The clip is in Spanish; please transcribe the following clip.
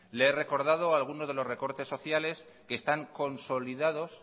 le he recordado alguno de los recortes sociales que están consolidados